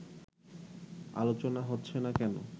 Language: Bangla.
আলোচনা হচ্ছে না কেন